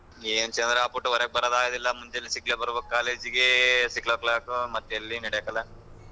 ಯೆನ್ ಚಂದ್ರ ಅಪುಟ್ ಒರಗ ಬರದ್ ಆಗದಿಲ್ಲ ಮುಂಜಾಳೆ six o’clock ಗೆ ಬರ್ಬೇಕು college ಗೆ six o’clock ಮತ್ತೆ ಎಲ್ಲಿ ನಡೆಕಿಲ್ಲ.